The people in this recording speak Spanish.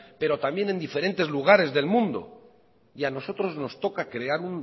pero también en diferentes lugares del mundo y a nosotros nos toca crear